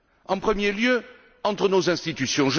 En premier lieu, entre nos institutions.